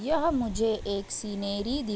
यह मुझे एक सिनेरी दिख --